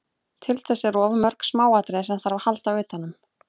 Til þess eru of mörg smáatriði sem þarf að halda utanum.